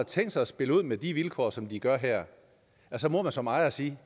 tænkt sig at spille ud med de vilkår som de gør her så må man som ejer sige